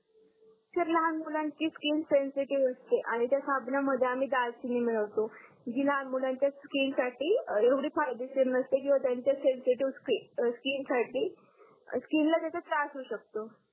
sir लहान मुलांची skin sensitive असते आणि त्या सामनामध्ये आम्ही दालचिनी मिळवतो जी लहान मुलांच्या स्किनसाठी येवडी फायदेशीर नसते किंवा त्यांच्या सेंसी टेस्ट स्किन साठी स्किनला त्यांच्या त्रास होऊ शकतो